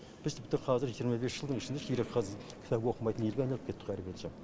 біз тіпті қазір жиырма бес жылдың ішінде қазір кітап оқымайтын елге айналып кеттік қо әрбірден соң